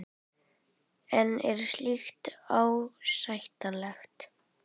En er slíkt ásættanlegt?